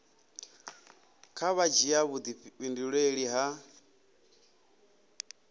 kha vha dzhia vhudifhinduleli ha